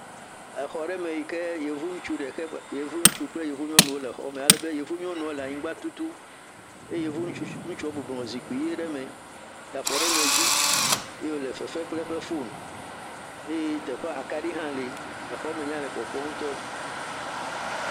Exɔ ɖe me yi ke yevu ŋutsu ɖeka yevu ŋutsu kple yevu nyɔnu wo le xɔ me ale be yevu nyɔnua le anyigba tutum eye yevu ŋutsu ŋutsua bɔbɔnɔ zikpui ʋi ɖe me da afɔ ɖe wo nɔewo dzi ye wo le fefem kple eƒe foni eye teƒea akaɖi hã li exɔa me nya le kpɔkpɔm ŋutɔ.